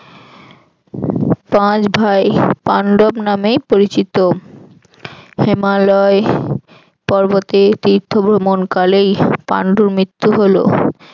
পাঁচ ভাই পান্ডব নামেই পরিচিত। হিমালয় পর্বতে তীর্থ ভ্রমণকালেই পান্ডুর মৃত্যু হল।